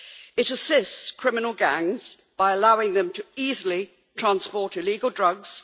It assists criminal gangs by allowing them to easily transport illegal drugs.